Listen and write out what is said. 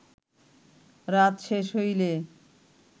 রাত শেষ হইলে